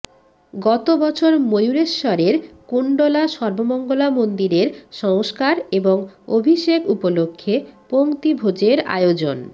গতবছর ময়ূরেশ্বরের কুণ্ডলা সর্বমঙ্গলা মন্দিরের সংস্কার এবং অভিষেক উপলক্ষ্যে পঙ্ক্তিভোজের আয়োজন